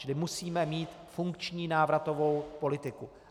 Čili musíme mít funkční návratovou politiku.